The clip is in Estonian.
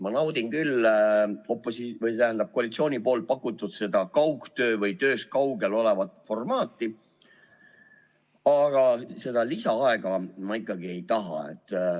Ma naudin küll koalitsiooni pakutud kaugtöö või tööst kaugel olemise formaati, aga seda lisaaega ma ikkagi ei taha.